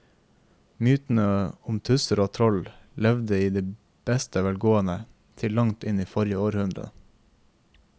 Mytene om tusser og troll levde i beste velgående til langt inn i forrige århundre.